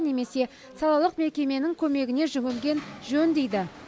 немесе салалық мекеменің көмегіне жүгінген жөн дейді